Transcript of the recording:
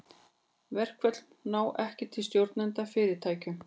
Verkföll ná ekki til stjórnenda í fyrirtækjum.